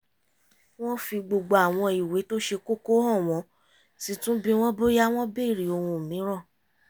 wọ́n fi gbogbo àwọn ìwé tó ṣe kóko hàn wọ́n sì tún bi wọ́n bóyá wọ́n bèrè ohun mìíràn